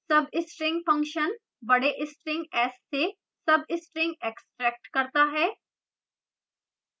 substr s a b function बड़े string s से substring extracts करता है